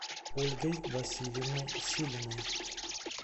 ольгой васильевной силиной